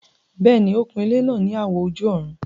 Bẹ́ẹ̀ni, ó kun ilẹ́ náà ní àwọ̀ ojú-ọ̀run